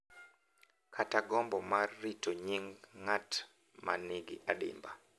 Kata gombo mar rito nying’ ng’at ma nigi adimba.